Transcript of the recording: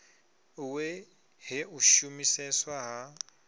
we he u shumiseswa ha